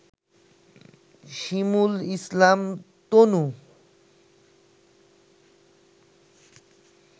শিমুল Islam তনু